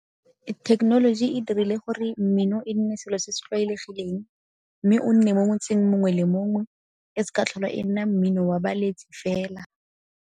Thekenoloji e dirile gore mmino e nne selo se se tlwaelegileng mme o nne mo motseng mongwe le mongwe, e seka ya tlhola e nna mmino wa baletsi fela.